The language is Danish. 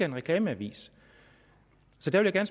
en reklameavis så der vil jeg